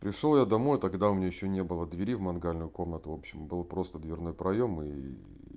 пришёл я домой тогда у меня ещё не было двери в мангальную комнату в общем было просто дверной проём и